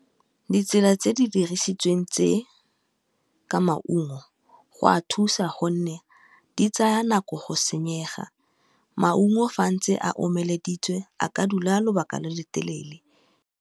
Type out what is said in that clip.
Ditsela tse di dirisitsweng tse ka maungo go a thusa gonne di tsaya nako go senyega, maungo fa a ntse a omelediitsiwe, a ka dula lobaka lo lo telele.